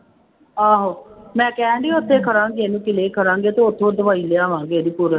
ਆਹੋ ਮੈਂ ਕਿਹਾ ਸੀ ਉੱਥੇ ਕਰਾਂਗੇ ਇਹਨੂੰ ਤੇ ਉੱਥੋਂ ਦਵਾਈ ਲਿਆਵਾਂਗੇ ਇਹਦੀ ਪੂਰ